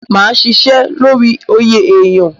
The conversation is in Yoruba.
Máa ṣiṣẹ́ lórí oyè èyán.